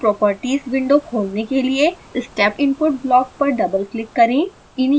इसकी properties window खोलने के लिए step input ब्लॉक पर डबलक्लिक करें